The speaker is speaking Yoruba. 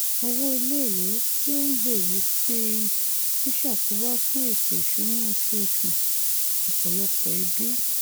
owó iléèwé tí ó n gbèrú sí i n ṣàkóbá fún ètò ìṣúná oṣooṣù ọpọlọpọ ẹbí